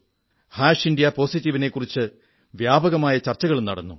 India positive India positive നെക്കുറിച്ച് വ്യാപകമായ ചർച്ചകളും നടന്നു